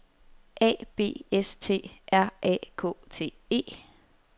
A B S T R A K T E